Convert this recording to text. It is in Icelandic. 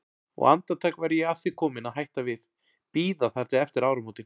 Og andartak var ég að því komin að hætta við, bíða þar til eftir áramótin.